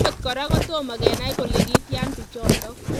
Angot kora kotomo. kenai kole kityaa pichotok